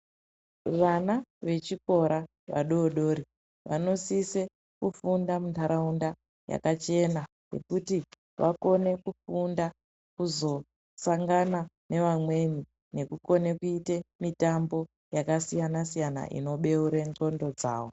Vana vechikora vadodori vanosise kufunda mundaraunda yakachena ngekuti vakone kufunda kuzosangana nevamweni nekukone kuita mitambo yakasiyana siyana inobeura nclondo dzawo